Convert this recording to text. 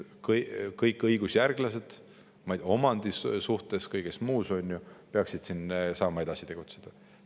Kõik õigusjärglased nii omandi kui ka kõige muu mõttes peaksid saama siin edasi tegutseda.